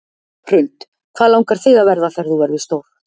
Hrund: Hvað langar þig að verða þegar þú verður stór?